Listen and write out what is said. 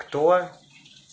кто